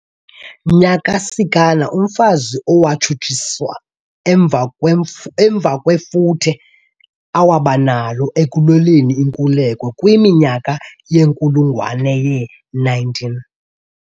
Nyakasikana, umfazi owatshutshiswa emva kwefuthe awabanalo ekulweleni inkululeko kwiminyaka yenkulungwane ye-19.